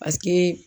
Paseke